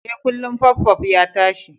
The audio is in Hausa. E, kullun puffpuff ya tashi.